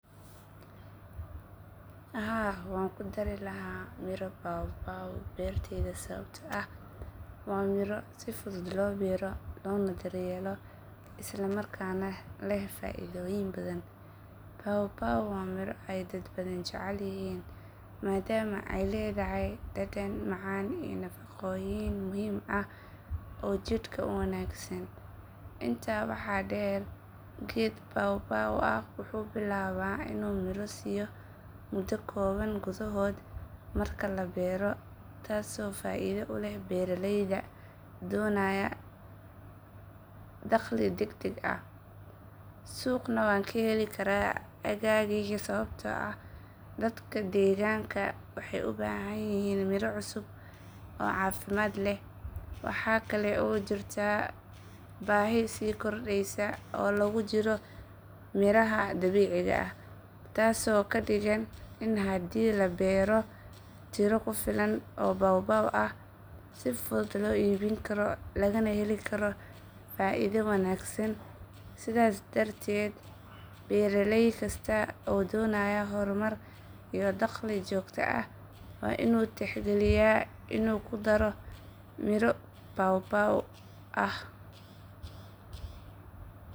Haa, waan ku dari lahaa miro papaw beertayda sababtoo ah waa miro si fudud loo beero loona daryeelo isla markaana leh faa’iidooyin badan. Papaw waa miro ay dad badani jecel yihiin maadaama ay leedahay dhadhan macaan iyo nafaqooyin muhiim ah oo jidhka u wanaagsan. Intaa waxaa dheer, geed papaw ah wuxuu bilaabaa inuu miro siiyo muddo kooban gudahood marka la beero, taasoo faa’iido u leh beeraleyda doonaya dakhli degdeg ah. Suuqna waan ka heli karaa aaggayga sababtoo ah dadka deegaanka waxay u baahan yihiin miro cusub oo caafimaad leh. Waxaa kale oo jirta baahi sii kordheysa oo loogu jiro miraha dabiiciga ah, taasoo ka dhigan in haddii la beero tiro ku filan oo papaw ah, si fudud loo iibin karo lagana heli karo faa’iido wanaagsan. Sidaas darteed, beeraley kasta oo doonaya horumar iyo dakhli joogto ah waa inuu tixgeliyaa inuu ku daro miro papaw beertiisa.